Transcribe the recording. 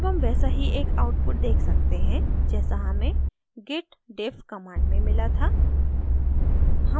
अब हम वैसा ही एक output देख सकते हैं जैसा हमें git diff command में मिला था